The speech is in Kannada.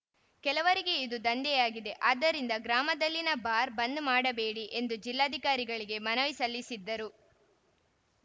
ಕೆಲವರಿಗೆ ಇದು ದಂಧೆಯಾಗಿದೆ ಆದ್ದರಿಂದ ಗ್ರಾಮದಲ್ಲಿನ ಬಾರ್‌ ಬಂದ್‌ ಮಾಡಬೇಡಿ ಎಂದು ಜಿಲ್ಲಾಧಿಕಾರಿಗಳಿಗೆ ಮನವಿ ಸಲ್ಲಿಸಿದ್ದರು